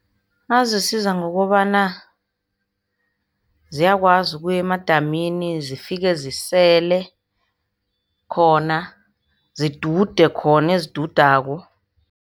Azisiza ngokobana ziyakwazi ukuya emadamini, zifike zisele khona. Zidude khona ezidudako.